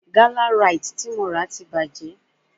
Gálà Ráìtì tí mo rà ti bàjẹ́